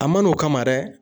A ma n'o kama dɛ